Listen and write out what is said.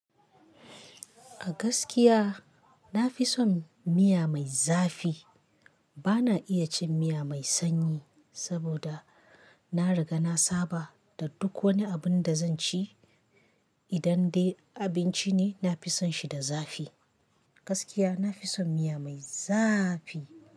A gaskiya na fi son miya mai zafi. Ba na iya cin miya mai sanyi saboda na riga na saba da duk wani abin da zan ci idan dai abinci ne, nafi son shi da zafi. Gaskiya nafi son miya mai zafi.